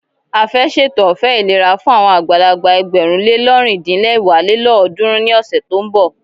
A fẹ́ ṣètò ọ̀fẹ́ ìlera fún àwọn àgbàlagbà ẹgbẹ̀rún le lọ́rin-din-lẹwá lélọ́ọ̀dúnrún ní ọ̀sẹ̀ tí ó ń bọ̀.